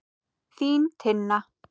Þín, Tinna.